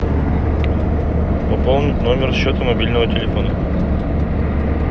пополнить номер счета мобильного телефона